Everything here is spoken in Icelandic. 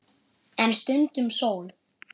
En stundum sól.